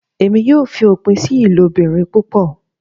Emi yoo fi opin si ilobirin pupọ